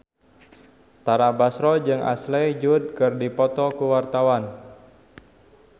Tara Basro jeung Ashley Judd keur dipoto ku wartawan